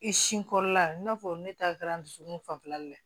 I sin kɔrɔla i n'a fɔ ne ta kɛra n dusukun fanfɛla la